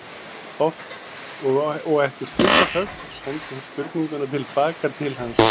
Og eftir stutta þögn sendi hún spurninguna til baka til hans.